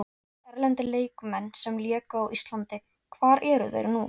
Erlendir leikmenn sem léku á Íslandi Hvar eru þeir nú?